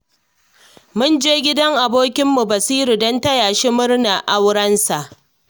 Mun je gidan abokinmu Basiru don taya shi murnar aurensa